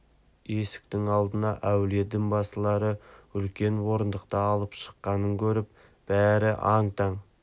есіктің алдына әуелі дін басылары үлкен орындықты алып шыққанын көріп бәрі аң-таң